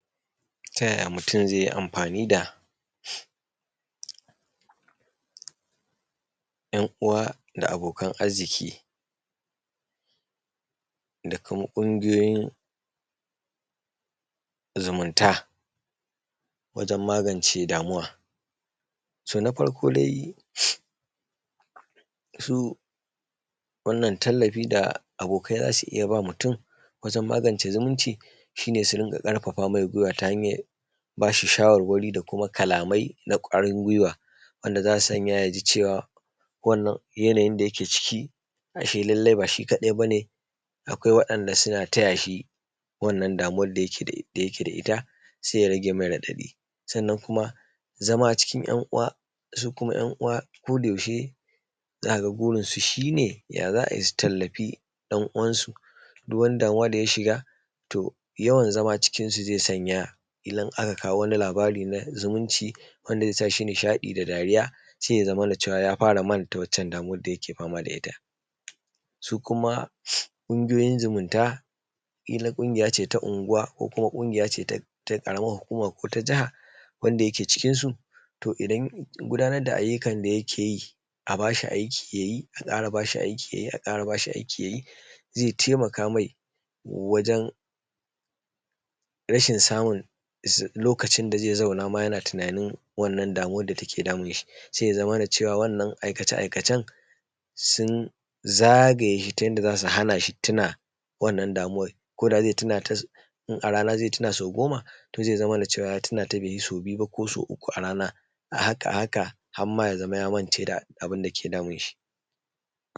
Ta yaya mutum zai yi amfani da ‘yan uwa da abokan arziki da kuma ƙungiyoyin zumunta wajen magance damuwa, To na farko dai su wannan tallafi da abokai za su iya ba mutum, wajen magance damuwa shi ne, Su dinga ƙarfafa mai gwiwwa ta hanyar ba shi shawarwari, da kuma kalamai na ƙwarin gwiwwa wanda za su sanya ya ji wannan yanayi da yake ciki ashe lallai ba shi kaɗai ba ne, Akwai waɗanda suna taya shi wannan damuwan da yake da ita sai ya rage mai raɗaɗi, Sannan kuma zama a cikin ‘yan uwansu kodayaushe, za ka ga kodayaushe burinsu ya za a yi su tallafi ɗan uwansu, duk wani damuwa da ya shiga to yawan zama cikinsu zai sanya idan aka kawo wani labari na zumunci, wanda zai sa shi nishaɗi da dariya sai ya zamana ya fara manta waccan damuwan da yake fama da ita, Su kuma ƙungiyoyin zumunta kila ƙungiya ce ta unguwa ko ta ƙaramar hukuma ko ta jaha wanda yake cikinsu, To idan ya gudanar da ayyukan da yake yi a ba shi aiki ya yi, A ƙara ba shi aiki ya yi, A ƙara ba shi ya yi zaI taimaka mai wajen rashin samun lokacin da zai zauna yana tunanin wannan damuwan da take damun shi, Sai ya zamana wannan aikace-aikacen sun zagaye shi ta yadda za su hana shi tuna wannan damuwan ko da zai tuna, In a rana zai tuna sau goma to zai zamana cewa ya tuna sau biyu ko sau uku a rana, A haka a haka har ma ya zama ya mance da abin da ke damun shi.